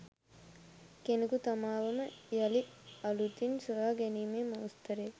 කෙනෙකු තමාවම යළි අලුතින් සොයා ගැනීමේ මෝස්තරය